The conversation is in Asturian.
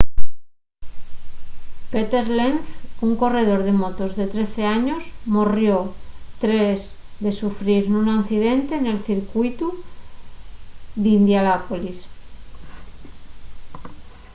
peter lenz un corredor de motos de 13 años morrió tres de sufrir nun accidente nel circuitu d’indianápolis